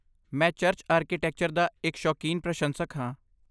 ਮੈਂ church architecture ਦਾ ਇੱਕ ਸ਼ੌਕੀਨ ਪ੍ਰਸ਼ੰਸਕ ਹਾਂ।